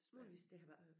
Muligvis det har været